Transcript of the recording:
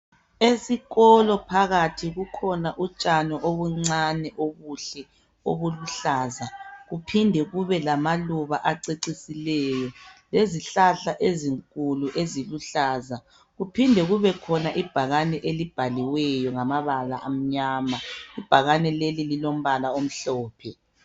Esikolo phakathi kukhona utshani obuncane obuhle obuluhlaza. Kuphinde kube lamaluba acecisileyo. Lezihlahla ezinkulu eziluhlaza. Kuphinde kubekhona ibhakane elibhaliweyo ngamabala amnyama. Ibhakane lelilombala omhlophe.